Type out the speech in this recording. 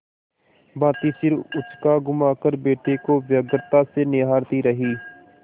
भाँति सिर उचकाघुमाकर बेटे को व्यग्रता से निहारती रही